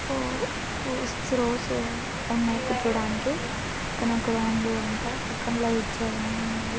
ఓ six రోస్ఉ(rows)న్నాయి కూర్చోడానికి కానీ ఆ గ్రౌండ్(ground) అంతా పక్కన లైట్స్ అవన్నీ ఉన్నాయి.